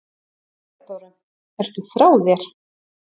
THEODÓRA: Ertu frá þér?